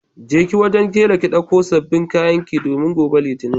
Kije wajen tela ki dauko sabbin kayanki domin gobe litinin.